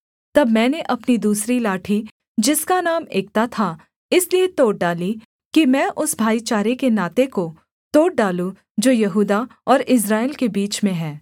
तब मैंने अपनी दूसरी लाठी जिसका नाम एकता था इसलिए तोड़ डाली कि मैं उस भाईचारे के नाते को तोड़ डालूँ जो यहूदा और इस्राएल के बीच में है